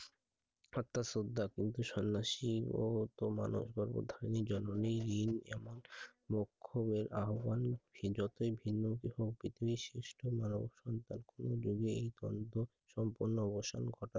আর তার শ্রদ্ধা কিন্তু সন্ন্যাসী ও মানব গর্ব ধারিনি জননী রিন্ এমন মুখমের আহবান সে যতই ভিন্ন ভিন্ন বিশিষ্ট্য মা ও সন্তান কোনো দিকেই সম্পূর্ণ অবসান ঘটায় I